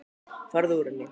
Farðu úr henni.